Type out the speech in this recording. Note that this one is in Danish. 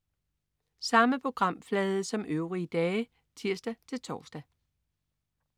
Samme programflade som øvrige dage (tirs-tors)